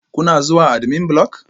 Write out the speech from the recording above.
Kuna zuwa admin block?